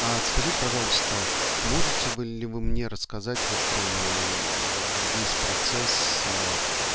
а скажите пожалуйста можете вы ли мне рассказать вот прямо весь процесс